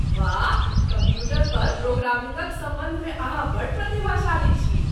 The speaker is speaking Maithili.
वाह! कम्प्यूटर पर प्रोग्रामिंगक सम्बन्ध मे अहाँ बड्ड प्रतिभाशाली छी।